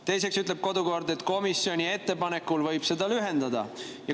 Teiseks ütleb kodukord, et komisjoni ettepanekul võib seda lühendada.